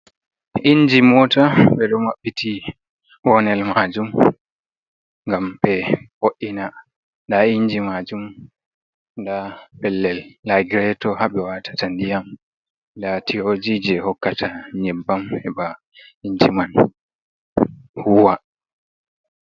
Inji mota ɓe ɗo maɓɓiti bonel majum ngam ɓe wo'ina. Nda inji maajum, nda pellel lagireto haa ɓe waatata ndiyam. Nda tiyoji je hokkata nƴebbam heba inji man huuwa.